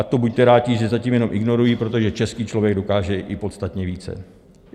A to buďte rádi, že zatím jenom ignorují, protože český člověk dokáže i podstatně více.